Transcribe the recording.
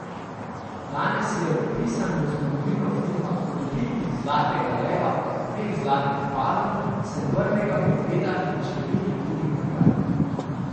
Danes je vpisan v zgodovino filma kot dobitnik zlatega leva, dveh zlatih palm, srebrnega medveda in številnih drugih nagrad.